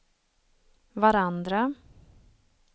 varandra